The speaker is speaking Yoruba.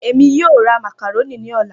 Emi yoo ra macaroni ni ọla.